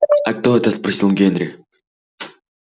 а кто это спросил генри